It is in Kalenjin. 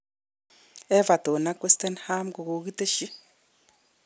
Everton ak West Ham kokokiteshi.